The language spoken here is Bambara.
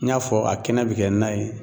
N y'a fɔ a kɛnɛ bɛ kɛ na ye.